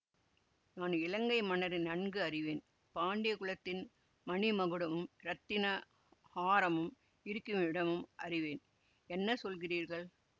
நான் இலங்கை மன்னரை நன்கு அறிவேன் பாண்டிய குலத்தின் மணி மகுடமும் இரத்தின ஹாரமும் இருக்குமிடமும் அறிவேன் என்ன சொல்லுகிறீர்கள்